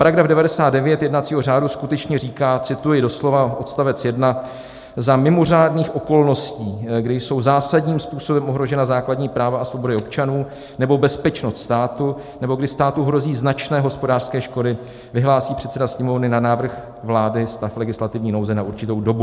Paragraf 99 jednacího řádu skutečně říká - cituji doslova odstavec 1: "Za mimořádných okolností, kdy jsou zásadním způsobem ohrožena základní práva a svobody občanů nebo bezpečnost státu nebo kdy státu hrozí značné hospodářské škody, vyhlásí předseda Sněmovny na návrh vlády stav legislativní nouze na určitou dobu."